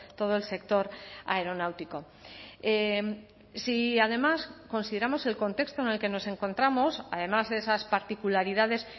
todo el sector aeronáutico si además consideramos el contexto en el que nos encontramos además de esas particularidades